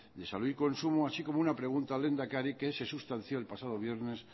de salud y consumo así como una pregunta al lehendakari que se sustanció el pasado viernes